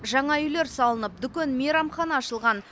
жаңа үйлер салынып дүкен мейрамхана ашылған